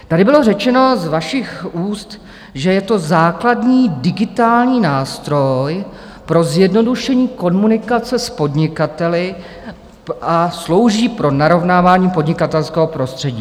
Tady bylo řečeno z vašich úst, že je to základní digitální nástroj pro zjednodušení komunikace s podnikateli a slouží pro narovnávání podnikatelského prostředí.